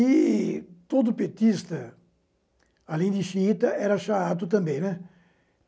E todo petista, além de xiita, era xaato também, né.